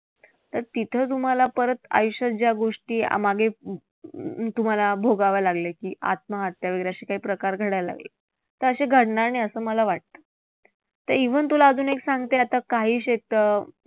तर तिथं तुम्हांला परत आयुष्यात ज्या गोष्टी तुम्हांला भोगाव्या लागल्या की, आत्महत्या वैगरे असे काही प्रकार तर असे घडणार नाही असं मला वाटतं. तर even तुला अजून एक सांगते आता काही